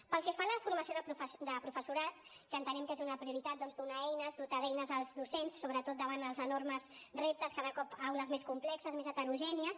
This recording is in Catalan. pel que fa a la formació de professorat que entenem que és una prioritat doncs donar eines dotar d’eines els docents sobretot davant dels enormes reptes cada cop aules més complexes més heterogènies